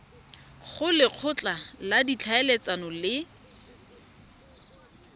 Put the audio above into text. go lekgotla la ditlhaeletsano le